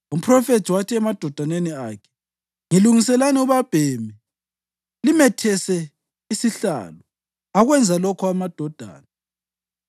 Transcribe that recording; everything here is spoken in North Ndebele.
Umphrofethi wathi emadodaneni akhe, “Ngilungiselani ubabhemi limethese isihlalo.” Akwenza lokho amadodana,